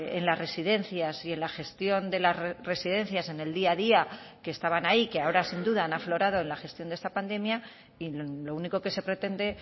en las residencias y en la gestión de las residencias en el día a día que estaban ahí que ahora sin duda han aflorado en la gestión de esta pandemia y lo único que se pretende